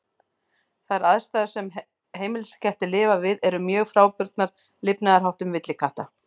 Þær aðstæður sem heimiliskettir lifa við eru mjög frábrugðnar lifnaðarháttum villikatta.